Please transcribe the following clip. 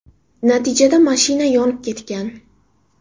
Natijada mashina yonib ketgan.